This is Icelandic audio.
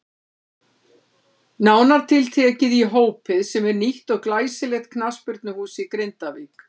Nánar tiltekið í Hópið sem er nýtt og glæsilegt knattspyrnuhús í Grindavík.